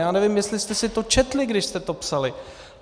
Já nevím, jestli jste si to četli, když jste to psali.